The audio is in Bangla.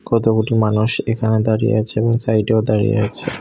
কত কটি মানুষ এখানে দাঁড়িয়ে আছে এবং সাইডেও দাঁড়িয়ে আছে।